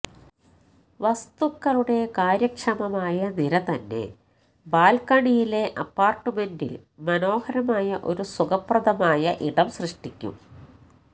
വസ്തുക്കളുടെ കാര്യക്ഷമമായ നിര തന്നെ ബാൽക്കണിയിലെ അപ്പാർട്ട്മെന്റിൽ മനോഹരമായ ഒരു സുഖപ്രദമായ ഇടം സൃഷ്ടിക്കും